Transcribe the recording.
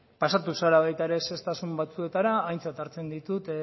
pasatu zara baita ere zehaztasun batzuetara aintzat hartzen ditut